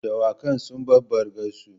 Dawakan sun bar bargarsu.